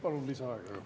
Palun lisaaega.